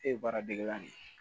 E ye baara degelan de ye